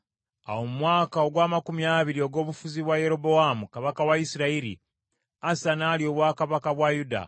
Awo mu mwaka ogw’amakumi abiri ogw’obufuzi bwa Yerobowaamu kabaka wa Isirayiri, Asa n’alya obwakabaka bwa Yuda.